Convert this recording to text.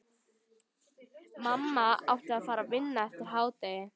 Mamma átti að fara að vinna eftir hádegið.